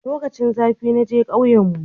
lokacin zafi naje kauyen mu